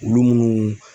Olu munnu